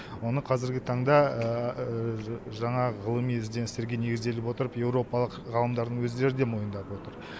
оны қазіргі таңда жанағы ғылыми ізденістерге негізделе отырып еуропалық ғалымдардың өздері де мойындап отыр